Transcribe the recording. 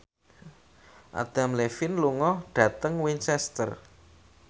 Adam Levine lunga dhateng Winchester